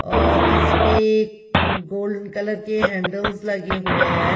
और इस पे गोल्डन कलर के हैंडल्स लगे हुए हैं।